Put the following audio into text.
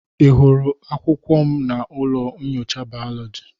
Ị hụrụ akwụkwọ m na ụlọ nyocha biology?